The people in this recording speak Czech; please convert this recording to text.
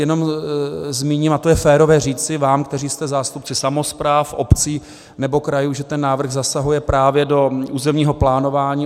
Jenom zmíním, a je to férové říci vám, kteří jste zástupci samospráv obcí nebo krajů, že ten návrh zasahuje právě do územního plánování.